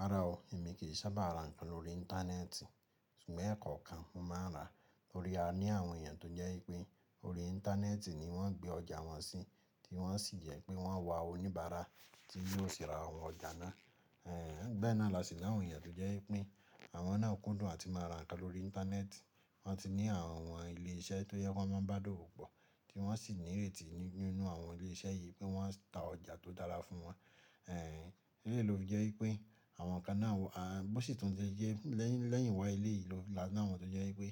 Rárá o, èmi kì í sábà ra ǹkan lórí Íńtánẹ́ẹ̀tì. Ṣùgbọ́n ẹ̀kọ̀ kan mo máa ń ra lórí a ní àwọn èèyàn tó jẹ́ pé orí Íńtánẹ́ẹ̀tì ni wọ́n gbé ọjà wọn sí, tí wọ́n sì jẹ́ pé wọ́n wa oníbàárà tí yóò sì ra àwọn ọjà náà. Ehn, bẹ́nà lásì àwọn èèyàn tó jẹ́ pé àwọn náà kún dùn àti máa ra ǹkan lórí Íńtánẹ́ẹ̀tì, wọ́n ti ní àwọn wọn ilé iṣẹ́ tó yẹ kí wọ́n máa ń bá dówòpọ̀, tí wọ́n sì ní réètì nínú àwọn ilé iṣẹ́ yìí pé wọ́n ń ta ọjà tó dára fún wọn. Ehn, eléyìí lofi jẹ́ wípé àwọn ǹkan náà wà, à bó sì tún jẹ́ lẹ́yìn wá eléyìí la ní wọ́n tó jẹ́ wípé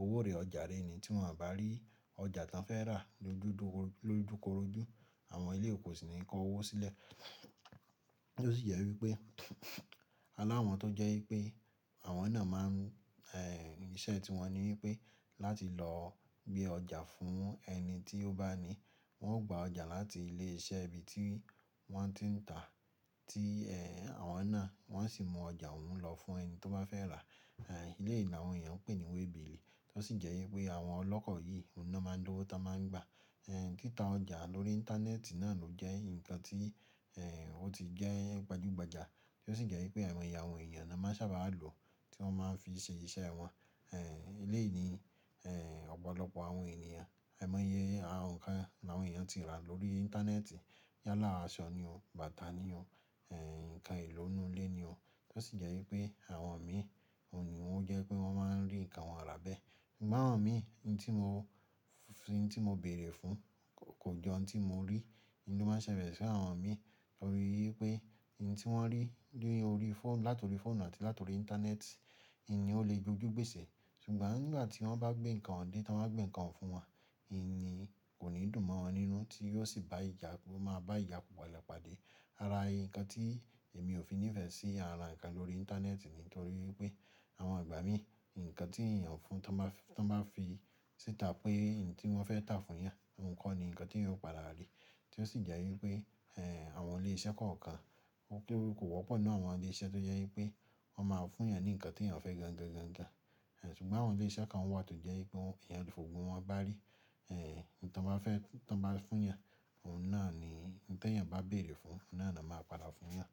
owó rè ọjà rè ni tí wọn bá rí ọjà tán fẹ́ rà lodúro lojukòrójú àwọn eléyìí wón o sì ní kó owó sílẹ̀. Tí ó sì jẹ́ wípé alawọn tó jẹ́ wípé àwọn náà máa n ehn iṣẹ́ tí wọ́n ní wípé láti lọ gbé ọjà fún ẹni tí ó bá ní. Wọn gba ọjà láti ilé iṣẹ́ ibi tí wọ́n ti ń tà tí ehn àwọn náà wọ́n sì mú ọjà òun lọ fún ẹni tó bá fẹ́ rà. Ehn eléyìí láwon èèyàn pè ní wẹ́ẹ̀bììlì tí ó sì jẹ́ wípé àwọn ọlọ́kọ̀ yìí ni wọ́n máa ń lówó tọ́n máa ń gbà. Ehn títà ọjà lórí Íńtánẹ́ẹ̀tì náà ló jẹ́ ǹkan tí ehn ó ti jẹ́ gbajúgbajà tí ó sì jẹ́ wípé aimọ̀yẹ àwọn èèyàn ni a máa sábà lò tí wọ́n máa ń fi ṣe iṣẹ́ wọn. Ehn eléyìí ní ehn ọ̀pọ̀lọpọ̀ àwọn ènìyàn aimọ́yẹ àwọn ǹkan àwọn èèyàn tí rà lórí Íńtánẹ́ẹ̀tì yálà àṣọ ni o, bàtà ni o, ehn ǹkan eelo inú ilé ni o. Tí ó sì jẹ́ wípé àwọn mi òun ni ó jẹ́ pé wọ́n máa ń rí ǹkan wọn rà bẹ́ẹ̀. Ṣùgbọ́n àwọn mi ní tí mo fín tí mo béèrè fún kò jọ ohun tí mo rí. Ntí máa ń ṣẹlẹ̀ sí àwọn mi o ni wípé ohun tí wọ́n rí lórí fó làtọ̀rí fóònù àti làtọ̀rí Íńtánẹ́ẹ̀tì, ìní ó lè jójú gbèsè. Ṣùgbọ́n ngbà tí wọ́n bá gbé ǹkan dé, tí wọ́n bá gbé ǹkan fún wọn, ìní kò ní dùn mọ́ wọn nínú tí yóò sì bá ìjà kó máa bá ìjà pala pá dé. Árá ǹkan tí èmi ò fi nífẹ̀ẹ́ sí ara ǹkan lórí Íńtánẹ́ẹ̀tì nítorí wípé àwọn ìgbà mí ǹkan tí èèyàn fún tán bá fi tán bá síta pé ohun tí wọ́n fẹ́ tà fún yàn, ohun kọ́ ni ǹkan tí yóò padà rí. Tí ó sì jẹ́ wípé ehn àwọn ilé iṣẹ́ kọ̀ọ̀kan, mo rí pé kò wọ́pọ̀ nínú àwọn ilé iṣẹ́ tó jẹ́ wípé wọ́n máa fún yàn ní ǹkan tí èèyàn fẹ́ gan-gan-gan-gan. Ehn ṣùgbọ́n àwọn ilé iṣẹ́ kan wà tó jẹ́ wípé èèyàn kò fògbọ̀n wọn bá rí, ehn ohun tí wọ́n bá fẹ́ tán bá fún yàn, òun náà ni n tó èèyàn bá béèrè fún, òun náà ni a máa padà fún yàn.